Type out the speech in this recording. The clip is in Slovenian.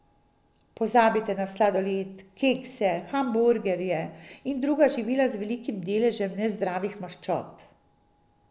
Pozabite na sladoled, kekse, hamburgerje in druga živila z velikim deležem nezdravih maščob.